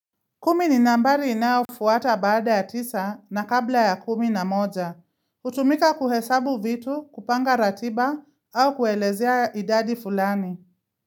Kumi ni nambari inayofuata baada ya tisa na kabla ya kumi na moja. Hutumika kuhesabu vitu, kupanga ratiba au kuelezea idadi fulani.